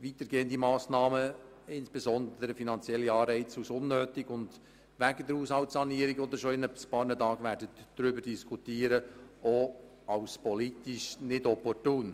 weitergehende Massnahmen, insbesondere finanzielle Anreize, als unnötig und wegen der Haushaltssanierung, über welche Sie in ein paar Tagen diskutieren werden, auch als politisch nicht opportun.